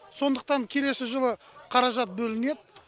сондықтан келесі жылы қаражат бөлінеді